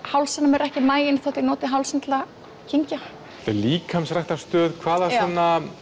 hálsinn á mér er ekki maginn þó ég noti hálsinn til að kyngja líkamsræktarstöð hvaða svona